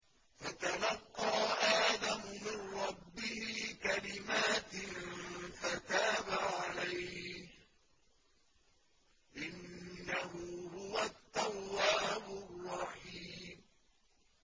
فَتَلَقَّىٰ آدَمُ مِن رَّبِّهِ كَلِمَاتٍ فَتَابَ عَلَيْهِ ۚ إِنَّهُ هُوَ التَّوَّابُ الرَّحِيمُ